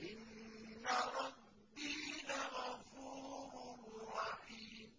إِنَّ رَبِّي لَغَفُورٌ رَّحِيمٌ